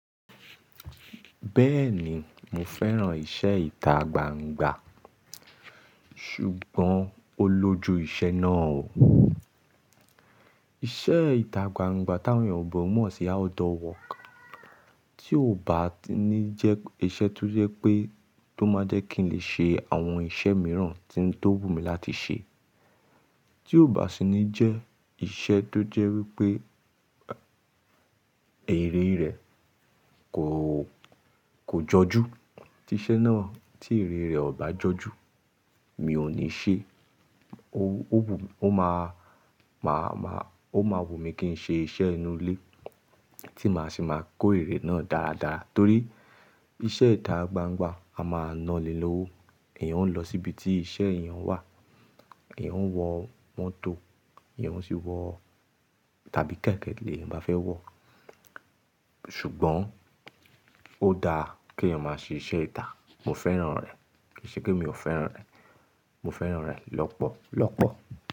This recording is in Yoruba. Bẹ́ẹ̀ni mo fẹ́ràn ìṣẹ ita gbangba, ṣùgbọ́n ó lójú iṣẹ́ náà o. Iṣẹ́ ìta gbangba tí àwọn èbo ò mọ̀ sí outdoor work. Tí ò bá ní jẹ́ ìṣe tó jẹ́ pé tó máa jẹ́ kí n lè ṣe àwọn ìṣe mìíràn tí ó wù mí láti ṣe, tí ò bá sì ní jẹ́ ìṣe tó jẹ́ wípé èrè rẹ̀ kò, kò jọjú. Tí iṣẹ́ náà tí èrè rẹ̀ ò bá jọjú, mi ò ní ṣe é. Ó máa, máa, máa, ó máa wù mí kí n ṣe ìṣe inú ilé tí màá sì máa kó èrè náà dáradára. Torí ìṣe ìta gbangba, a máa nani lówó. Èèyàn ó lọ síbi tí iṣẹ́ èèyàn wà, èèyàn ó wọ mọ́tò, èèyàn ó sì wọ tàbí kẹ̀kẹ́ lèèyàn bá fẹ́ wọ̀. Ṣùgbọ́n ó dáa kí èèyàn máa ṣe ìṣe ìta. Mo fẹ́ràn rẹ̀, kì í ṣe pé mi ò fẹ́ràn rẹ̀. Mo fẹ́ràn rẹ̀ lọ́pọ̀lọ́pọ̀.